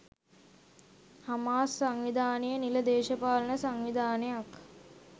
Hamas සංවිධානය නිල දේශපාලන සංවිධානයක්